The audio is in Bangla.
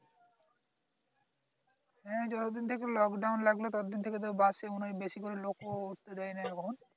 হ্যাঁ যতদিন থেকে lockdown লাগলো ততদিন থেকে তো bus এ মনে হয় বেশি লোক ও উঠতে দেয় না এখন